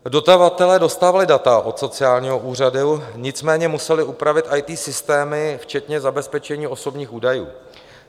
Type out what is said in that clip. Dodavatelé dostávali data od sociálního úřadu, nicméně museli upravit IT systémy včetně zabezpečení osobních údajů.